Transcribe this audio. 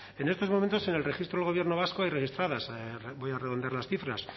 en estos momentos en el registro del gobierno vasco hay registradas voy a redondear las cifras